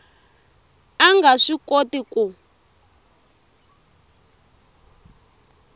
a nga swi koti ku